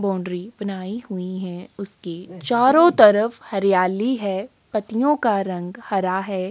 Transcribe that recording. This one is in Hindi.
बोंडरी बनाई हुयीं है उसके चारों तरफ हरियाली है पत्तियों का रंग हरा है।